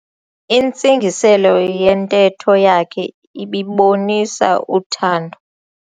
Intsingiselo yentetho yakhe ibibonisa uthando.